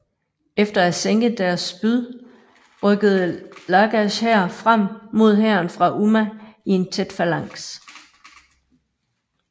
Efter at have sænket deres spyd rykkede Lagash hær frem mod hæren fra Umma i en tæt falanks